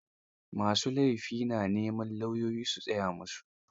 Ma su laifi na neman lauyoyi su tsaya musu.